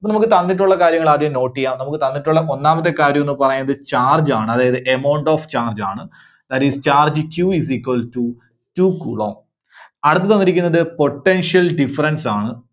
നമുക്ക് തന്നിട്ടുള്ള കാര്യങ്ങള് ആദ്യം note ചെയ്യാം. നമുക്ക് തന്നിട്ടുള്ള ഒന്നാമത്തെ കാര്യമെന്ന് പറയുന്നത് charge ആണ് അതായത് amount of charge ണ്. അതായത് charge Q is equal to two coulomb അടുത്തത് തന്നിരിക്കുന്നത് potential difference ആണ്.